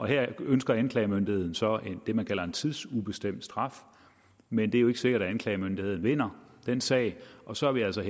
her ønsker anklagemyndigheden så det man kalder en tidsubestemt straf men det er jo ikke sikkert at anklagemyndigheden vinder den sag og så er vi altså